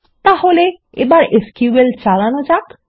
তাহলে এবার এসকিউএল চালানো যাক